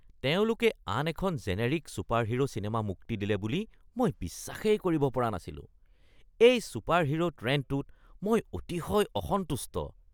তেওঁলোকে আন এখন জেনেৰিক ছুপাৰহিৰো চিনেমা মুক্তি দিলে বুলি মই বিশ্বাসেই কৰিব পৰা নাছিলো। এই ছুপাৰহিৰো ট্ৰেণ্ডটোত মই অতিশয় অসন্তুষ্ট। (বন্ধু ১)